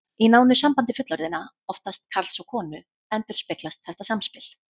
Í nánu sambandi fullorðinna, oftast karls og konu, endurspeglast þetta samspil.